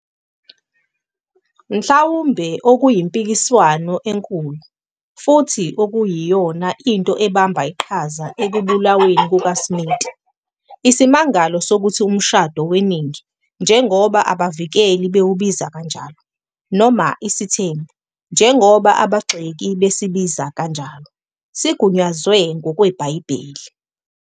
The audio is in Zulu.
Mhlawumbe okuyimpikiswano enkulu, futhi okuyiyona nto ebambe iqhaza ekubulaweni kukaSmith, isimangalo sokuthi umshado weningi, njengoba abavikeli bawubiza kanjalo, noma isithembu, njengoba abagxeki besibiza kanjalo, sigunyazwe ngokweBhayibheli.